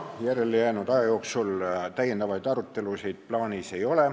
Järele jäänud aja jooksul täiendavaid arutelusid plaanis ei ole.